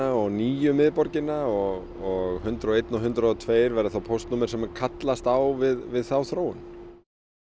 og nýju miðborgina og hundrað og eins og hundrað og tvö verða þá póstnúmer sem kallast á við þá þróun